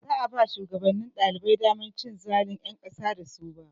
Baza a ba shugabannin ɗalibai damar cin zalun ƴan ƙasa da su ba.